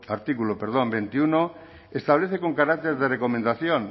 artículo veintiuno establece con carácter de recomendación